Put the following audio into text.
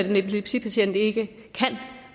en epilepsipatient ikke kan